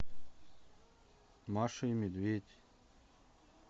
маша и медведь